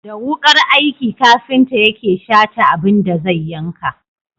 Da wukar aiki kafinta yake Shata abin da zai yanka.